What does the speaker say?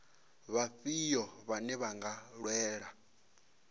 vhafhio vhane vha nga lwela